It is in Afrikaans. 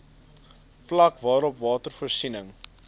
vlak waarop watervoorsiening